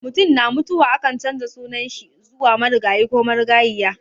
Mutum na mutuwa ake canza sunan shi zuwa marigayi ko marigayiya.